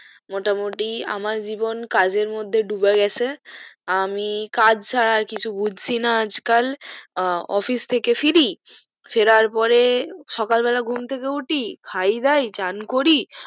মোটা মুটি আমার জীবন কাজের মধ্যে ডুবে গেছে আমি কাজ ছাড়া আর কিছু বুজছি না আজ কাল office থেকে ফিরি ফেরার পরে সকাল বেলা ঘুম থেকে উটি খাই দায় চান করি